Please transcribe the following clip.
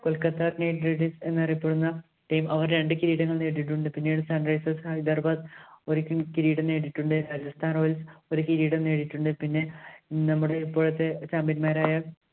Kolkata Knight Riders എന്നറിയപ്പെടുന്ന team അവര്‍ രണ്ട് കിരീടങ്ങള്‍ നേടിയിട്ടുണ്ട്. പിന്നീട് Sunrisers Hyderabad ഒരു കിരീടം നേടിയിട്ടുണ്ട്. Rajasthan Royals ഒരു കിരീടം നേടിയിട്ടുണ്ട്. പിന്നെ നമ്മുടെ ഇപ്പോഴത്തെ champion മാര്‍ ആയ